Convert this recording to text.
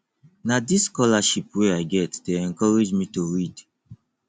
na dis scholarship wey i get dey encourage me to read